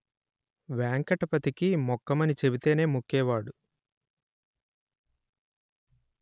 వేంకటపతికి మొక్కుమని చెబితేనే మొక్కేవాడు